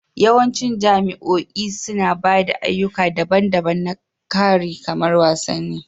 Yawancin jami'o'i suna ba da ayyuka daban-daban na kari kamar wasanni